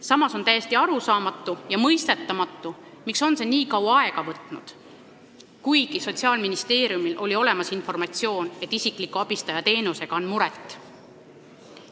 Samas on täiesti arusaamatu ja mõistetamatu, miks on see nii kaua aega võtnud, kuigi Sotsiaalministeeriumil oli olemas informatsioon, et isikliku abistaja teenusega on muret.